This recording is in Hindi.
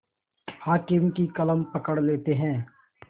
हाकिम की कलम पकड़ लेते हैं